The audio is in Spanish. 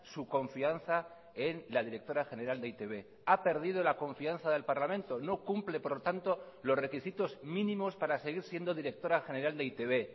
su confianza en la directora general de e i te be ha perdido la confianza del parlamento no cumple por lo tanto los requisitos mínimos para seguir siendo directora general de e i te be